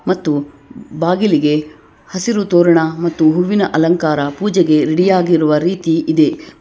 ಮತ್ತು ಬಾಗಿಲಿಗೆ ಹಸಿರು ತೋರಣ ಮತ್ತು ಹೂವಿನ ಅಲಂಕಾರ ಪೂಜೆಗೆ ರೆಡಿ ಆಗಿರುವ ರೀತಿ ಇದೆ.